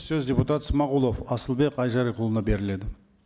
сөз депутат смағұлов асылбек айжарықұлына беріледі